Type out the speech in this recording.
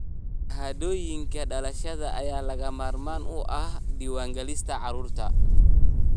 Shahaadooyinka dhalashada ayaa lagama maarmaan u ah diiwaangelinta carruurta.